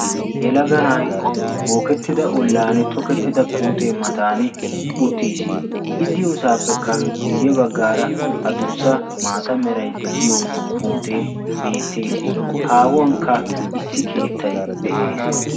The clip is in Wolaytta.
yelaganay bookettida ollan tokettida puutee matan uttiis i diyoosaappekka guyye baggaara adussa maata meray de'iyo puutee beettees haahuwankka issi keettay de'ees